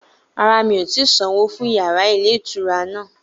Rárá, mi ò tí sanwó fún yàrá ilé-ìtura náà